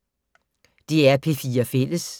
DR P4 Fælles